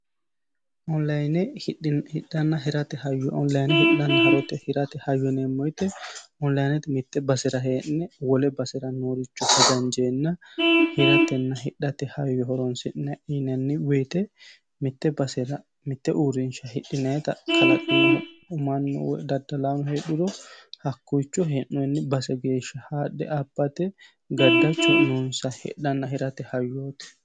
Online hidhana hirate hayyo. Online hidhanna hirate hayyo yineemo woyte onilinete mitte basera hee'ne wole basera nooricho hajanijeena hiratenna hidhate hayyo horonisi'nayi yinanni woyte mitte basera mitte uurinisha hidhinayita kalaqinohu mannu woy daddalaano hedhuro hakiicho he'nooni base geesha haadhe abbate gaddachu noonisa hidhanna hirate hayyooti.